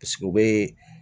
u bɛ